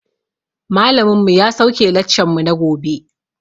Malamin mu ya sauke laccan mu na gobe